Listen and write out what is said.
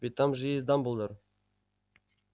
ведь там же есть дамблдор